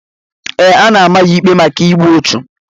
Ee, a na-ama ya ikpe maka igbu ọchụ.